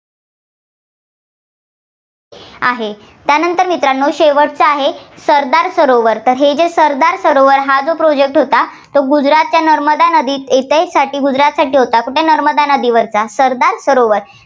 आहे, त्यानंतर मित्रांनो शेवटचा आहे, सरदार सरोवर तर हे जे सरदार सरोवर हा जो Project होता, तो गुजरातच्या नर्मदा नदीत साठी गुजरातसाठी होता. कुठला नर्मदा नदीवर सरदार सरोवर